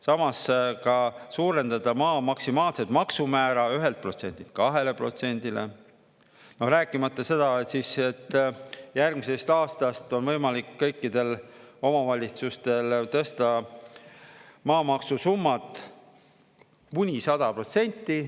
Samas ka suurendada maa maksimaalset maksumäära 1%-lt 2%-le, no rääkimata seda, et järgmisest aastast on võimalik kõikidel omavalitsustel tõsta maamaksusummat kuni 100%.